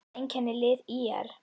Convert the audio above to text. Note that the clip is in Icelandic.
Hvað einkennir lið ÍR?